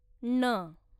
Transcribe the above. ङ